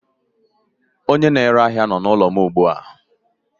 Onye na-ere ahia nọ n'ụlọ m ugbu a.